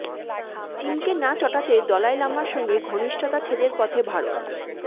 চিনকে না চটাতে দলাই লামার সঙ্গে ঘনিষ্ঠতা ছেদের পথে ভারত